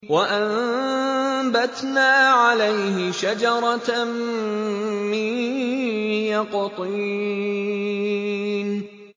وَأَنبَتْنَا عَلَيْهِ شَجَرَةً مِّن يَقْطِينٍ